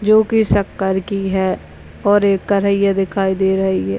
जो कि शक्कर की है और एक कढ़ैया दिखाई दे रही है।